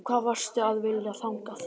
Og hvað varstu að vilja þangað?